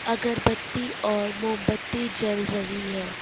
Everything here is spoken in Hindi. अगरबत्ती और मोमबत्ती जल रही है।